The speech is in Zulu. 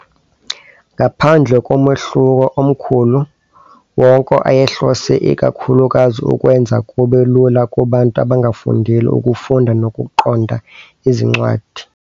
Ngaphandle komehluko omkhulu, wonke ayehlose ikakhulukazi ukwenza kube lula kubantu abangafundile ukufunda nokuqonda izincwadi.